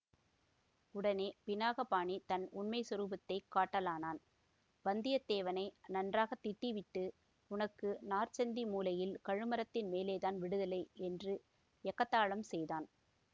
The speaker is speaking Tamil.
உடனே பினாகபாணி தன் உண்மை சொரூபத்தைக் காட்டலானான் வந்தியத்தேவனை நன்றாக திட்டிவிட்டு உனக்கு நாற்சந்தி மூலையில் கழுமரத்தின் மேலே தான் விடுதலை என்று எகத்தாளம் செய்தான்